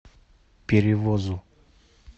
перевозу